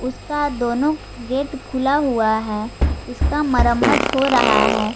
उसका दोनों गेट खुला हुआ है इसका मरम्मत हो रहा है।